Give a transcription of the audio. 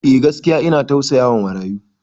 Eh, gaskiya ina tausayawa marayu.